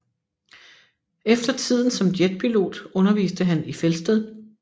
Efter tiden som jetpilot underviste han i Felsted